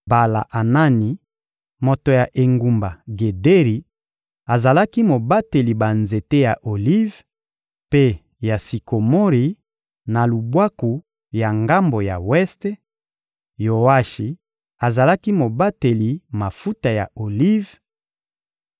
Bala-Anani, moto ya engumba Gederi, azalaki mobateli banzete ya olive mpe ya sikomori, na lubwaku ya ngambo ya weste; Yoashi azalaki mobateli mafuta ya olive;